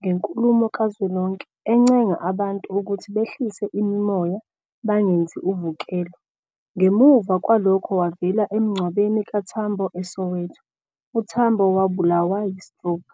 ngenkulumo kazwelonke, encenga abantu ukuthi behlise imimoya bangenzi uvukelo, ngemuva kwalokho wavela emngcwabeni kaTambo eSoweto, uTambo wabulawa yi-stroke.